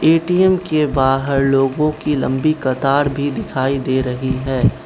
ATM के बाहर लोगों की लंबी कतार भी दिखाई दे रही है।